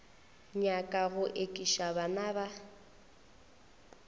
nyaka go ekiša bana ba